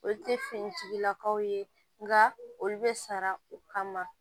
Olu te finitigilakaw ye nka olu bɛ sara o kama